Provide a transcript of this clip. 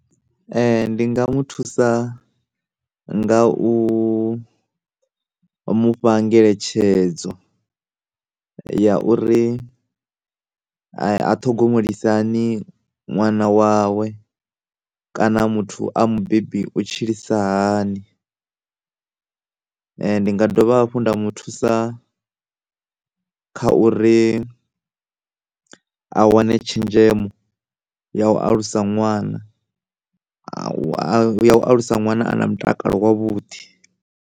Ndi nga muthusa nga u mufha ngeletshedzo ya uri ya uri a, a ṱhogomelise hani ṅwana wawe kana muthu a mubebi u tshilisa hani ndi nda dovha nda mu thusa kha uri a wane tshenzhemo ya u alusa ṅwana ya u alusa ṅwana a na mutakalo wavhuḓi.